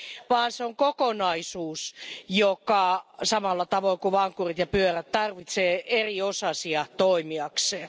vaan se on kokonaisuus, joka samalla tavoin kuin vankkurit ja pyörä tarvitsee eri osasia toimiakseen.